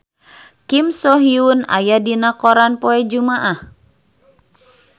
Kim So Hyun aya dina koran poe Jumaah